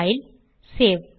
file save